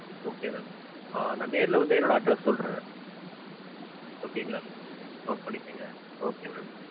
okay ma'am. நா நேர்ல வந்து என்னோட address சொல்றேன். okay ங்களா? note பண்ணிக்கங்க. okay ma'am.